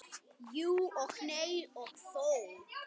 Jú og nei og þó.